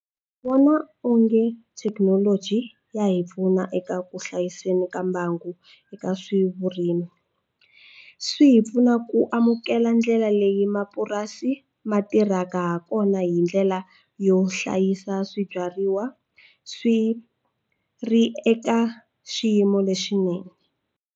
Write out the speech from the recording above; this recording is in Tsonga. Ndzi vona onge thekinoloji ya hi pfuna eka ku hlayiseni ka mbangu eka swavurimi swi hi pfuna ku amukela ndlela leyi hi mapurasi ma tirhaka ha kona hindlela yo hlayisa swibyariwa swi ri eka xiyimo lexinene.